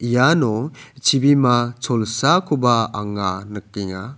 iano chibima cholsakoba anga nikenga.